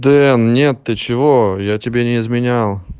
дэн нет ты чего я тебе не изменял